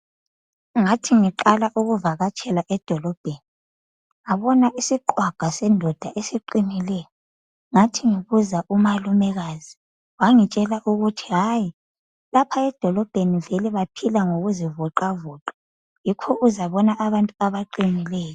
Ngathi ngiqala ukuvakatshela edolobheni ngabona isiqhwaga sendoda esiqinileyo ngathi ngibuza umalumekazi wangitshela ukuthi hayi lapha edolobheni vele baphila ngokuzivoxavoxa yikho uzabona abantu abaqinileyo.